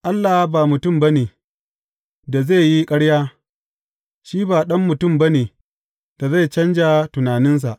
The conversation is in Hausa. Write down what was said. Allah ba mutum ba ne, da zai yi ƙarya, shi ba ɗan mutum ba ne, da zai canja tunaninsa.